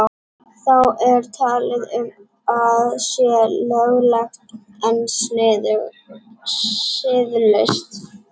Þá er talað um að sé löglegt en siðlaust.